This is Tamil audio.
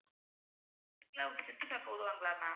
இல்ல அவங்க சுத்திப்பாக்க விடுவாங்களா ma'am